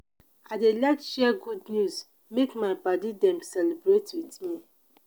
i dey like share good news make my paddy dem celebrate with me.